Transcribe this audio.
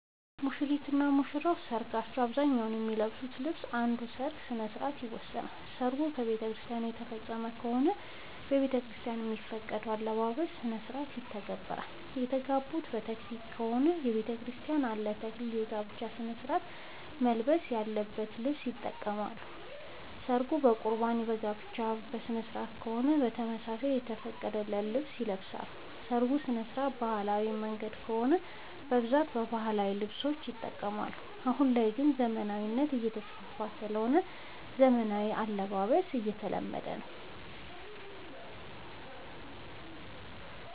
ሙሽሪት እና ሙሽራ ለሰርካቸው በአብዛኛው የሚለብሱት ልብስ እንደ ሠርጉ ስነስርዓት ይወሰናል። ሰርጉ በቤተክርስቲያን የተፈፀመ ከሆነ ቤተክርስቲያን የሚፈቅደውን የአለባበስ ስነስርዓት ይተገብራሉ። የተጋቡት በተክሊል ከሆነ በቤተክርስቲያን ለ ተክሊል የጋብቻ ስነስርዓት መልበስ ያለበትን ልብስ ይጠቀማሉ። ሰርጉ በቁርባን የጋብቻ ስነስርዓት ከሆነም በተመሳሳይ የተፈቀደውን ልብስ ይለብሳሉ። የሰርጉ ስነስርዓት በባህላዊ መንገድ ከሆነ በብዛት ባህላዊ ልብሶችን ይጠቀማሉ። አሁን ላይ ግን ዘመናዊነት እየተስፋፋ ስለሆነ ዘመናዊ አልባሳት እየተለመደ ነው።